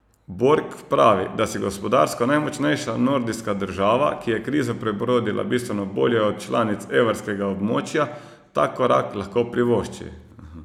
Borg pravi, da si gospodarsko najmočnejša nordijska država, ki je krizo prebrodila bistveno bolje od članic evrskega območja, tak korak lahko privošči.